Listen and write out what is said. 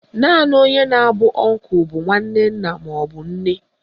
Naanị onye na-abụ ọnkụ bụ nwanne nna maọbụ nne